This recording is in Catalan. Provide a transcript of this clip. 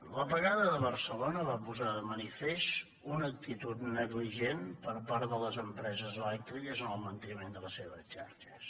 l’apagada de barcelona va posar de manifest una actitud negligent per part de les empreses elèctriques en el manteniment de les seves xarxes